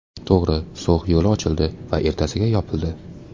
To‘g‘ri, So‘x yo‘li ochildi va ertasiga yopildi.